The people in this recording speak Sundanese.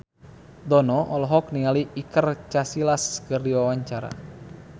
Dono olohok ningali Iker Casillas keur diwawancara